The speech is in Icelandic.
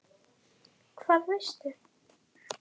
Karen: Hvað veistu?